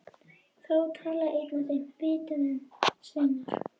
Þá talaði einn af þeim, viti menn, sveinar!